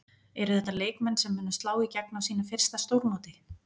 Eru þetta leikmenn sem munu slá í gegn á sínu fyrsta stórmóti?